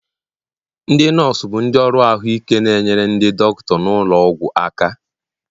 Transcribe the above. ndị nọọsụ bụ ndị ọrụ ahụike na-enyere ndị dọkịta nọ n'ụlọ ọgwụ aka